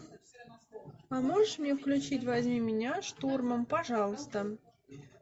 поможешь мне включить возьми меня штурмом пожалуйста